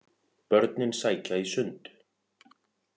Börnin sækja í sund